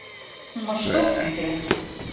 Hún var stórfengleg.